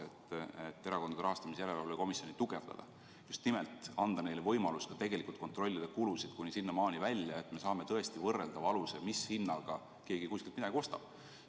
Me tugevdame Erakondade Rahastamise Järelevalve Komisjoni ja anname neile just nimelt võimaluse kontrollida ka kulusid, nii et me saame tõesti võrreldava aluse, mis hinnaga keegi kuskilt midagi ostab.